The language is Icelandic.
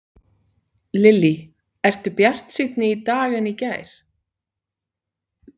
Lillý: Ertu bjartsýnni í dag en í gær?